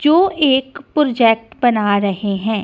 जो एक प्रोजेक्ट बना रहे हैं।